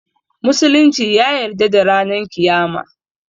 Musulunci ya yarda da ranan kiyama